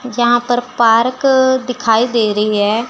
यहां पर पार्क दिखाई दे रही है।